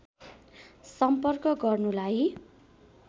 सम्पर्क गर्नुलाई